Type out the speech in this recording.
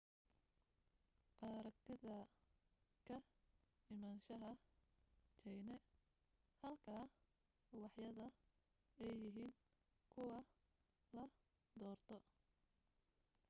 aragtida ka imanshaha china halka ubaxyada ay yahiin kuwa la doorto